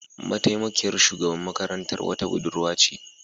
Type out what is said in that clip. Mataimakiyar shugaban makarantar wata Budurwa ce